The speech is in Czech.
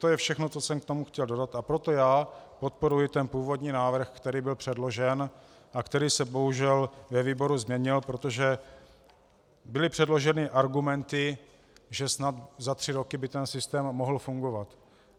To je všechno, co jsem k tomu chtěl dodat, a proto já podporuji ten původní návrh, který byl předložen a který se bohužel ve výboru změnil, protože byly předloženy argumenty, že snad za tři roky by ten systém mohl fungovat.